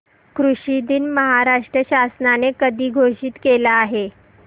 कृषि दिन महाराष्ट्र शासनाने कधी घोषित केला आहे